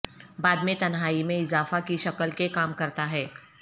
بعد میں تنہائی میں اضافہ کی شکل کے کام کرتا ہے